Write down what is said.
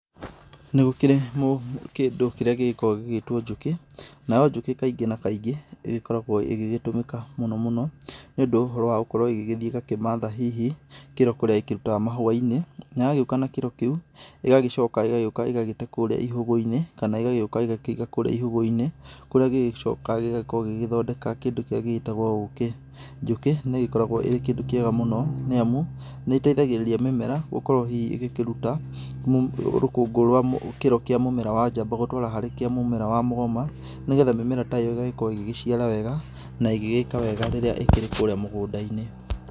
Nĩgũkĩrĩ kĩndũ kĩrĩa gĩgĩkoragwo gĩgĩtwo njũkĩ. Nayo njũkĩ kaingĩ na kaingĩ, ĩgĩkoragwo ĩgĩgĩtũmĩka mũno mũno nĩũndũ wa ũhoro gũkorwo ĩgĩgĩthiĩ ĩgakĩmatha hihi kĩro kũrĩa ĩkĩrutaga mahũa-inĩ, na yagĩũka na kĩro kĩu, ĩgagĩcoka ĩgagĩũka ĩgagĩte kũrĩa ihũgũ-inĩ, kana ĩgagĩũka ĩgakĩiga kũrĩa ihũgũ-inĩ kũrĩa gĩgĩcoka gĩgagĩkoo gĩgĩthondeka kĩndũ kĩrĩa gĩgĩtagwo ũkĩ. Njũkĩ nĩĩgĩkoragwo ĩrĩ kĩndũ kĩega mũno, nĩ amu, nĩĩteithagĩrĩria mĩmera gũkorwo hihi ĩgĩkĩruta rũkũngũ rwa kiro kĩa mũmera wa njamba gũtwara harĩ kĩa mũmera wa mũgoma, nĩgetha mĩmera ta ĩyo ĩgagĩkorwo ĩgĩgĩciara wega na ĩgĩgĩka wega rĩrĩa ĩkĩrĩ kũrĩa mũgũnda-inĩ